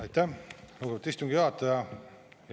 Aitäh, lugupeetud istungi juhataja!